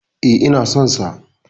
E, ina son sa.